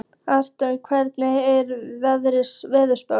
Atlanta, hvernig er veðurspáin?